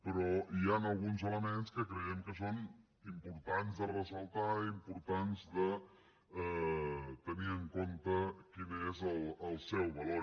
però hi han alguns elements que creiem que són importants de ressaltar importants de tenir en compte quin és el seu valor